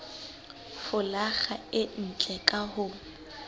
folaga e ntle ka ho